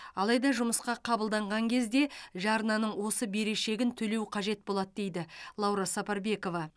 алайда жұмысқа қабылданған кезде жарнаның осы берешегін төлеу қажет болады дейді лаура сапарбекова